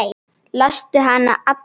Lastu hana alla?